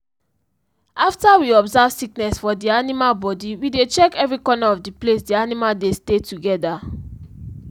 after we observe sickness fo the animal body we dey check every corner of the place the animal dey stay together